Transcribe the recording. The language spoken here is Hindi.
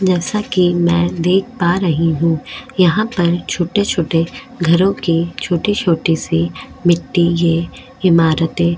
जैसा की में देख पा रही हु यहाँ पर छोटे छोटे घरो की छोटी छोटी सी मिट्टी ये इमारते --